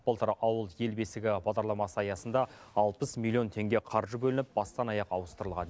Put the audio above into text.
былтыр ауыл ел бесігі бағдарламасы аясында алпыс миллион теңге қаржы бөлініп бастан аяқ ауыстырылған